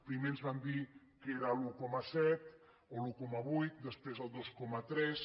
primer ens van dir que era l’un coma set o l’un coma vuit després el dos coma tres